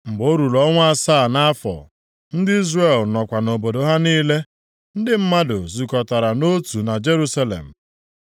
Mgbe o ruru ọnwa asaa nʼafọ, ndị Izrel nọkwa nʼobodo ha niile, ndị mmadụ zukọtara nʼotu na Jerusalem.